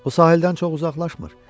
O sahildən çox uzaqlaşmır.